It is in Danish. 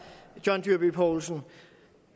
john dyrby paulsen